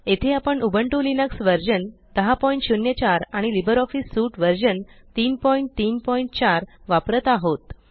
येथे आपण Ubuntu Linux version 1004 आणि लिब्रिऑफिस सूट व्हर्शन 334 वापरत आहोत